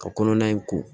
Ka kɔnɔna in ko